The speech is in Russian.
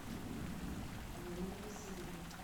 марина васильевна